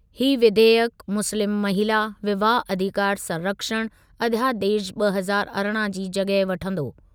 ही विधेयकु मुस्लिम महिला विवाह अधिकार संरक्षण अध्यादेश ॿ हज़ार अरिड़हं जी जॻहि वठंदो।।